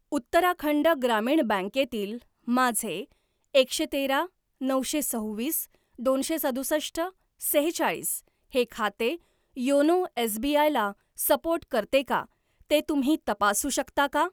उत्तराखंड ग्रामीण बँके तील माझे एकशे तेरा नऊशे सव्वीस दोनशे सदुसष्ट सेहेचाळीस हे खाते योनो एसबीआय ला सपोर्ट करते का ते तुम्ही तपासू शकता का?